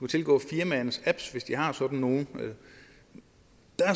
tilgå firmaernes apps hvis de har sådan nogle